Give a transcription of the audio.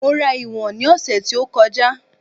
Mo rà ìwọ̀n ni ose tí ó kọjá